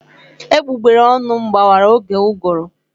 Egbugbere ọnụ m gbawara oge ụgụrụ.